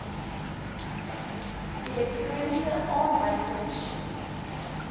elektroniese aanwyserma sjien